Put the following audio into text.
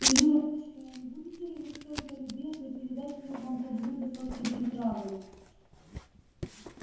ирина дочь моя не будете ли вы столько любезны передать мне вон то блюдо с острой приправой